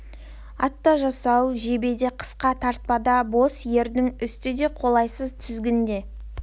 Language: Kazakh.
ат та асау жебе де қысқа тартпа да бос ердің үсті де қолайсыз тізгін де